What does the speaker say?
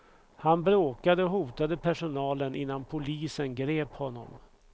Han bråkade och hotade personalen innan polisen grep honom.